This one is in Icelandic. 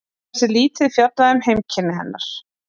Annars er lítið fjallað um heimkynni hennar.